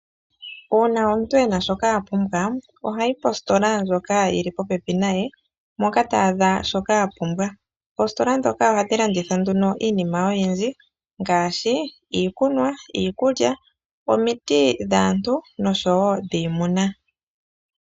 Uuna omuntu ena shoka apumbwa sha, ohayi kositola ndjoka yili popepi naye moka ta adha shoka apumbwa. Oositola dhoka ohadhi landitha nduno iinima oyindji ngaashi iikunwa , iikulya omiti dhaantu nosho wo dhiimuna.